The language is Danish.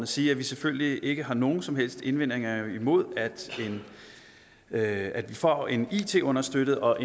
sige at vi selvfølgelig ikke har nogen som helst indvendinger imod at at vi får en it understøttet og